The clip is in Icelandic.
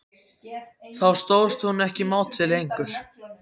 Þá stóðst hún ekki mátið lengur.